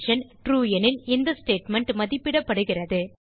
true எனில் இந்த statement மதிப்பிடப்படுகிறது